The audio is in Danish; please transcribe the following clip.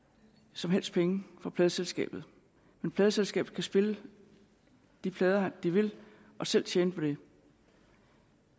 som helst penge fra pladeselskabet men pladeselskabet kan spille de plader de vil og selv tjene på det